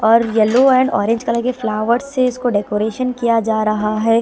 और yellow and orange colour के flowers से इसको डेकोरेशन किया जा रहा है।